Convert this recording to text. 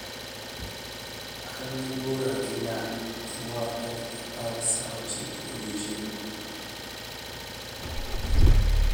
an gi bura gi nga' januar tarik apar saa ochiko odiechieng